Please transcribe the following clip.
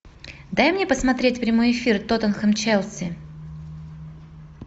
дай мне посмотреть прямой эфир тоттенхэм челси